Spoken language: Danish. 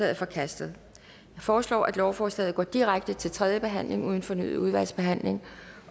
er forkastet jeg foreslår at lovforslaget går direkte til tredje behandling uden fornyet udvalgsbehandling